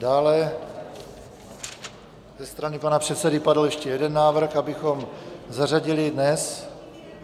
Dále ze strany pana předsedy padl ještě jeden návrh, abychom zařadili dnes...